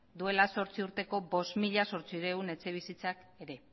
duela zortzi urteko bost mila zortziehun etxebizitzak ere